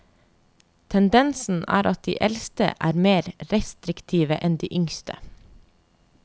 Tendensen er at de eldste er mer restriktive enn de yngste.